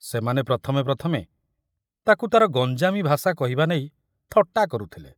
ସେମାନେ ପ୍ରଥମେ ପ୍ରଥମେ ତାକୁ ତାର ଗଞ୍ଜାମୀ ଭାଷା କହିବା ନେଇ ଥଟ୍ଟା କରୁଥିଲେ।